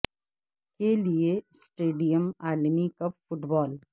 کے لئے سٹیڈیم عالمی کپ فٹ بال